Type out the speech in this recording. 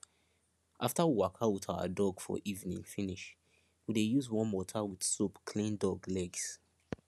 after we waka with our dog for evening finish we dey use warm water with soap clean dog legs